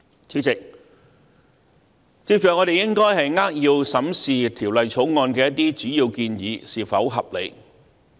主席，接着我們應該扼要審視《條例草案》的一些主要建議是否合理。